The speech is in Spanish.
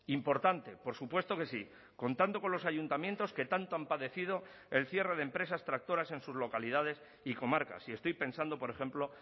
importante por supuesto que sí contando con los ayuntamientos que tanto han padecido el cierre de empresas tractoras en sus localidades y comarcas y estoy pensando por ejemplo